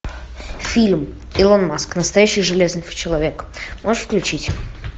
фильм илон маск настоящий железный человек можешь включить